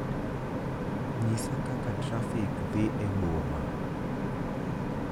nyisa kaka trafik dhi e boma